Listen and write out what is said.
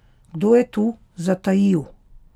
Kdo je tu zatajil?